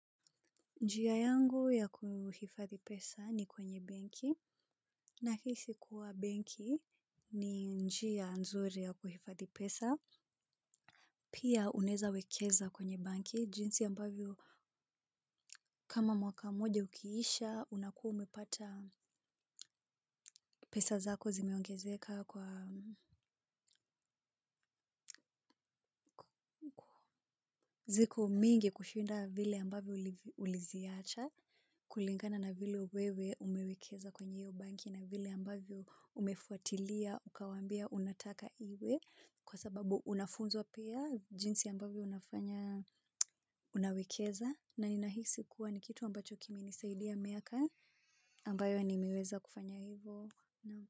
Njia yangu ya kuhifadhi pesa ni kwenye benki nahisi kuwa benki ni njia nzuri ya kuhifadhi pesa pia unaeza wekeza kwenye banki jinsi ambavyo kama mwaka moja ukiisha unakua umepata pesa zako zimeongezeka kwa ziko mingi kushinda vile ambavyo uliziacha kulingana na vile wewe umewekeza kwenye hiyo banki na vile ambavyo umefuatilia ukawaambia unataka iwe kwa sababu unafunzwa pia jinsi ambavyo unafanya unawekeza na ninahisi kuwa ni kitu ambacho kimenisaidia miaka ambayo nimeweza kufanya hivo.